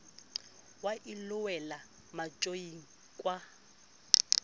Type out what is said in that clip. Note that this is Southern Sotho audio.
wa ilo wela matjoing kwana